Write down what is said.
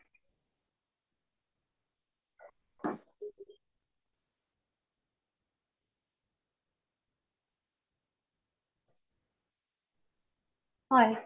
হয়